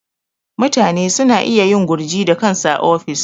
Mutane suna iya yin gurji da kansu a ofis.